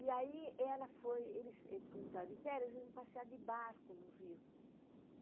E aí ela foi, eles como estavam de férias, eles iam passear de barco no rio.